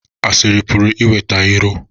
Asịrị pụrụ iweta iro